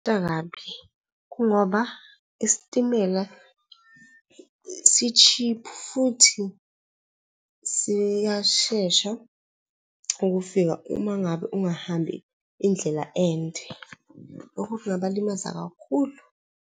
kungoba isitimela si-cheap futhi siyashesha ukufika uma ngabe ungahambi indlela ende. Lokhu kungabalimaza kakhulu.